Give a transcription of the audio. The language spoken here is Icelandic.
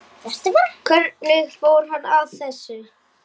Hvernig fór hann að þessu?